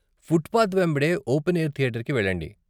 Footpath వెంబడే open air థియేటర్కి వెళ్ళండి.